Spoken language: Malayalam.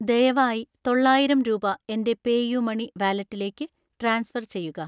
ദയവായി തൊള്ളായിരം രൂപ എൻ്റെ പേയുമണി വാലറ്റിലേക്ക് ട്രാൻസ്ഫർ ചെയ്യുക.